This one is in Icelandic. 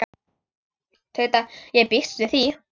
Tauta: Ég býst við því.